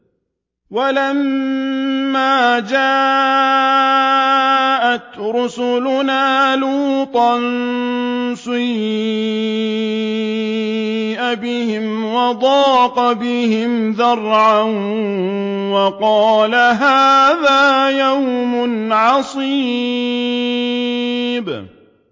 وَلَمَّا جَاءَتْ رُسُلُنَا لُوطًا سِيءَ بِهِمْ وَضَاقَ بِهِمْ ذَرْعًا وَقَالَ هَٰذَا يَوْمٌ عَصِيبٌ